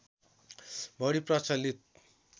बढी प्रचलित